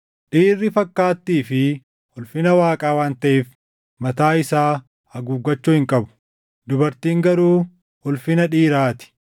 Dhiirri fakkaattii fi ulfina Waaqaa waan taʼeef mataa isaa haguuggachuu hin qabu; dubartiin garuu ulfina dhiiraa ti.